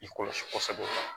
I kɔlɔsi kɔsɛbɛ